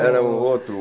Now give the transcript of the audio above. Era um outro